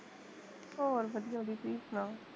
ਹੋਰ, ਵਧੀਆ ਵਧੀਆ ਤੁਸੀਂ ਸੁਣਾਓ